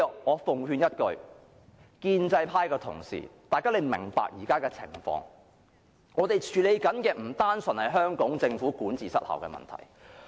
我奉勸一句，建制派同事要明白現時的情況，我們正在處理的不單純是香港政府管治失效的問題。